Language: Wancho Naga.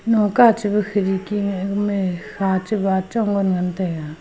noka chiba khidki ngai gamai kha cha bachong ngan ngantaiga.